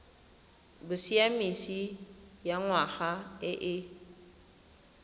bosiamisi ya ngwana e e